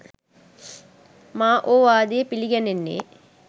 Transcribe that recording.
මා ඕ වාදය පිළිගැනෙන්නේ